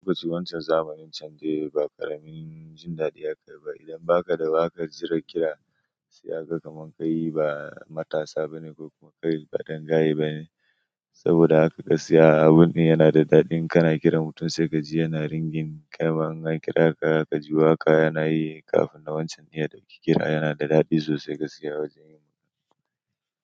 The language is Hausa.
Tofa ace, wancan zamanin can dai ba ƙaramin jin daɗi aka yi ba. Idan baka da waka jira kira sai aka kaman ka yi, ba matasa ba ne, kuma kai ba dan gaye ba ne. Saboda haka gaskiya, abun yana da daɗi, in kana kiran mutum sai ka ji yana ringin ƙyamama. An kira ka, ka ji waƙa yana yi kafin na wancan ne da kike kira. Yana da daɗi sosai gaskiya wajen yin.